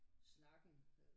Snakken øh